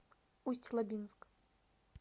усть лабинск